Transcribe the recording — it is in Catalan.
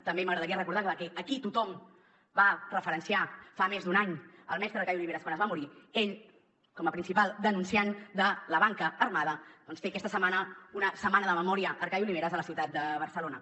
també m’agradaria recordar que aquí tothom va referenciar fa més d’un any el mestre arcadi oliveres quan es va morir ell com a principal denunciant de la banca armada doncs té aquesta setmana una setmana de memòria arcadi oliveres a la ciutat de barcelona